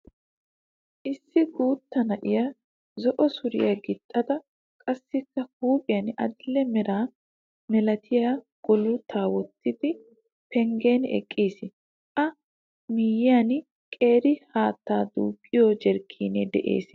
Issu guutta na'ay zo'o suriyaaa gixida qassikka huuphiyan adidhee mera malatiyaa gullotaa wottidi penguin eqqiis. A miyyiyaan qeeri haattaa duuqiyoo jarkaanee de'ees.